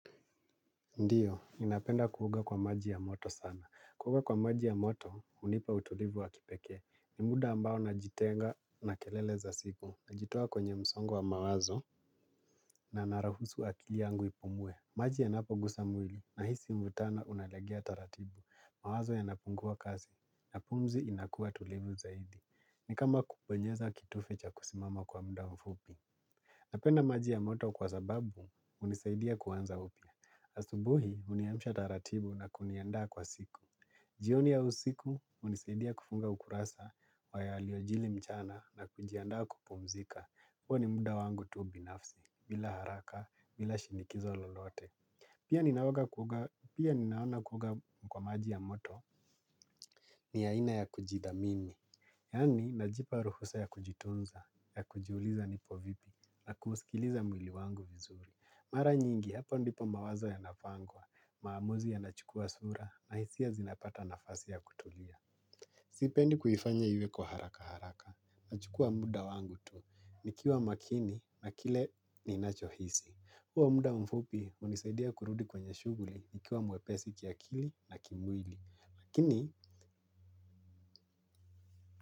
Ndiyo, ninapenda kuoga kwa maji ya moto sana. Kuoga kwa maji ya moto hunipa utulivu wa kipekee. Ni muda ambao najitenga na kelele za siku. Najitoa kwenye msongo wa mawazo na naruhusu akili yangu ipumue. Maji yanapogusa mwili nahisi mvutano unalegea taratibu. Mawazo yanapungua kazi na pumzi inakuwa tulivu zaidi. Ni kama kubonyeza kitufe cha kusimama kwa muda mfupi. Napenda maji ya moto kwa sababu hunisaidia kuanza upya. Asubuhi huniamsha taratibu na kuniandaa kwa siku. Jioni au usiku hunisaidia kufunga ukurasa wa yaliyojiri mchana na kujiandaa kupumzika. Huwa ni muda wangu tu binafsi, bila haraka, bila shinikizo lolote. Pia ninaoga kuoga, pia ninaona kuoga kwa maji ya moto ni aina ya kujithamini. Yaani, najipa ruhusa ya kujitunza, ya kujiuliza nipo vipi, na kuusikiliza mwili wangu vizuri. Mara nyingi, hapo ndipo mawazo yanapangwa, maamuzi yanachukua sura, na hisia zinapata nafasi ya kutulia. Sipendi kuifanya iwe kwa haraka haraka. Nachukua muda wangu tu. Nikiwa makini na kile ninachohisi. Huo muda mfupi hunisaidia kurudi kwenye shughuli nikiwa mwepesi kiakili na kimwili. Lakini.